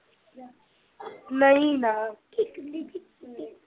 ਨਹੀਂ ਨਾ